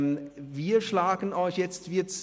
Wir schlagen Ihnen jetzt vor…